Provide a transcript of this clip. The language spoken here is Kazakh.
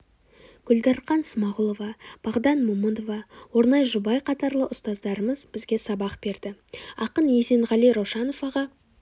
гүлдарқан смағұлова бағдан момынова орнай жұбай қатарлы ұстаздарымыз бізге сабақ берді ақын есенғали раушанов аға